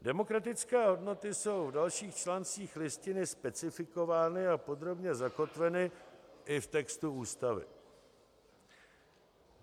Demokratické hodnoty jsou v dalších článcích Listiny specifikovány a podrobně zakotveny i v textu Ústavy.